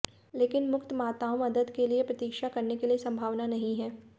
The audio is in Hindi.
लेकिन मुक्त माताओं मदद के लिए प्रतीक्षा करने के लिए संभावना नहीं है